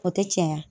O tɛ caya